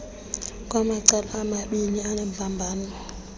kwamacala amabiini anembambano